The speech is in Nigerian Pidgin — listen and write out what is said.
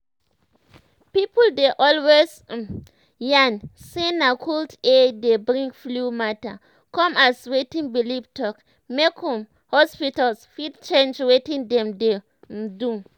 people dey always um yan say na cold air dey bring flu matter come as wetin belief talk make um hospitals fit change wetin dem dey um do.